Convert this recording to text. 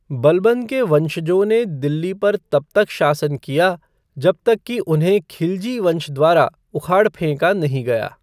बलबन के वंशजों ने दिल्ली पर तब तक शासन किया जब तक कि उन्हें खिलजी वंश द्वारा उखाड़ फेंका नहीं गया।